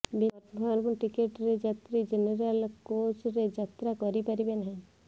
ବିନା କନଫର୍ମ ଟିକେଟରେ ଯାତ୍ରୀ ଜେନରାଲ କୋଚରେ ଯାତ୍ରା କରିପାରିବେ ନାହିଁ